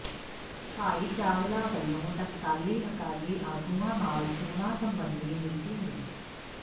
ਭਾਈ ਚਾਵਲਾ ਵੱਲੋਂ ਟਕਸਾਲੀ ਅਕਾਲੀ ਆਗੂਆਂ ਨਾਲ ਚੋਣਾਂ ਸਬੰਧੀ ਮੀਟਿੰਗ